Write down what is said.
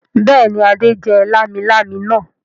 Bẹ́ẹ̀ ni, Adé jẹ lámilámi náà.